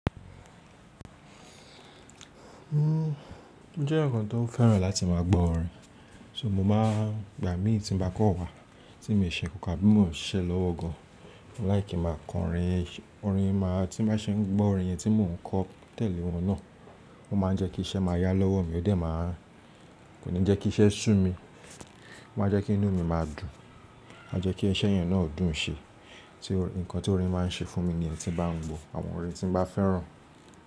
Uhm, ó jẹ́ ǹnkan tó fẹ́ràn láti má a gbọ́ orin. So mo má a, ìgbà mí tí n ba kọ́ wa, tí mi ṣe ǹnkan abí mo ṣise lọ́wọ gan, mo like kin máa ko orin, orin máa, tí má ṣe ń gbọ́ orin yẹn tí mò ń kọ tẹ́lẹ̀ wọn náà, ó ma n jẹ́ kí iṣẹ́ máa yá lọ́wọ́ mi ó dẹ̀ máa kò ní jẹ́ kí iṣẹ́ sú mi, ó ma n jẹ́ kí inú mi máa dùn, ó ma n jẹ́ kí iṣẹ́ yẹn náà dùn ṣe. Ti ǹnkan tí orin má n ṣe fún mi ní lyen tin bá n gbọ àwọn orin tí n bá fẹ́ràn.